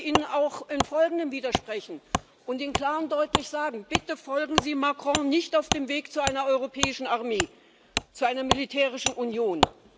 Und ich möchte Ihnen auch im Folgenden widersprechen und Ihnen klar und deutlich sagen Bitte folgen Sie Macron nicht auf dem Weg zu einer europäischen Armee, zu einer militärischen Union!